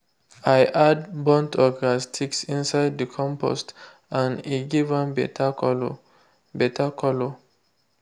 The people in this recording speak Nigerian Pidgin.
i add burnt okra sticks inside the compost and e give am better colour. better colour.